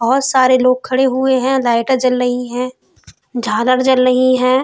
बोहोत सारे लोग खड़े हुए हैं। लाइटें जल रही हैं झालर जल रही हैं।